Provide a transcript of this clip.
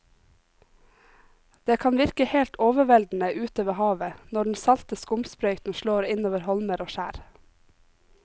Det kan virke helt overveldende ute ved havet når den salte skumsprøyten slår innover holmer og skjær.